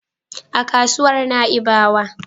A kasuwar Na'ibawa.